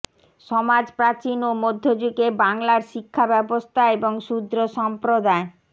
সমাজ প্রাচীন ও মধ্যযুগে বাংলার শিক্ষাব্যবস্থা এবং শূদ্র সম্প্রদায়